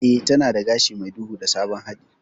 Eh, tana da gashi mai duhu da sabon haɗi.